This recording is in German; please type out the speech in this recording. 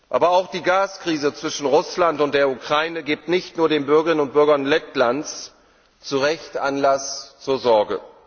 Aber auch die Gas Krise zwischen Russland und der Ukraine gibt nicht nur den Bürgerinnen und Bürgern Lettlands zu Recht Anlass zur Sorge.